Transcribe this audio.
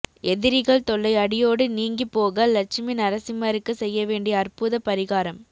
எதிரிகள் தொல்லை அடியோடு நீங்கிப் போக லட்சுமி நரசிம்மருக்கு செய்ய வேண்டிய அற்புத பரிகாரம்